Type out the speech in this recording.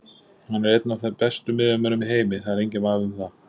Hann er einn af bestu miðjumönnunum í heimi, það er enginn vafi um það.